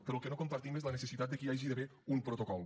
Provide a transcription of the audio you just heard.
però el que no compartim és la necessitat de que hi hagi d’haver un protocol